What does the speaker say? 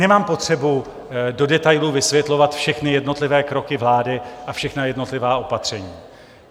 Nemám potřebu do detailu vysvětlovat všechny jednotlivé kroky vlády a všechna jednotlivá opatření.